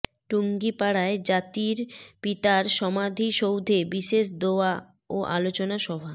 টুঙ্গিপাড়ায় জাতির পিতার সমাধিসৌধে বিশেষ দোয়া ও আলোচনা সভা